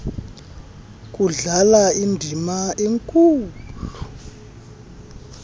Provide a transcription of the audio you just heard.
kudlala indima enkulu